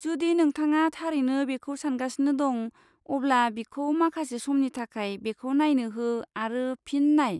जुदि नोंथाङा थारैनो बेखौ सानगासिनो दं अब्ला बिखौ माखासे समनि थाखाय बेखौ नायनो हो आरो फिन नाय।